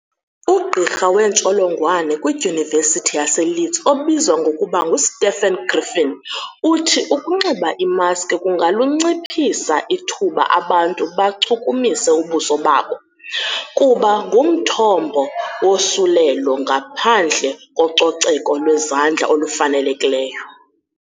Ugqirha weentsholongwane kwiDyunivesithi yaseLeeds obizwa ngokuba nguStephen Griffin uthi 'Ukunxiba imaski kungalunciphisa ithuba abantu bachukumise ubuso babo, kuba ngumthombo wosulelo ngaphandle kococeko lwezandla olufanelekileyo."